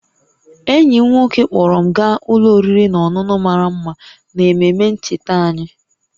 Enyi m nwoke kpọọrọ m gaa ụlọ oriri na ọṅụṅụ mara mma n'ememe ncheta anyị